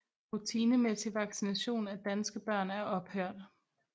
Rutinemæssig vaccination af danske børn er ophørt